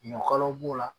Ɲɔ kalaw b'o la